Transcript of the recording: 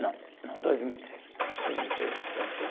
Não, não, dois mil e três, dois mil e três aposentei.